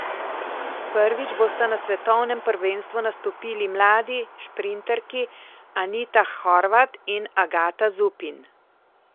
Prvič bosta na svetovnem prvenstvu nastopili mladi šprinterki Anita Horvat in Agata Zupin.